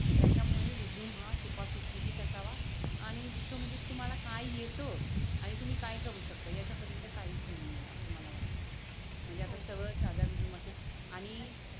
त्याच्या मुळे रेझूमे हा सोपा सुटसुटीत असावा. आणि दुसर म्हणजे तुम्हाला काय येत आणि तुम्ही काय करू शकता? याच्या पलीकडे काही लुहू नये अस मला वाटत. म्हणजे सगळ सध्या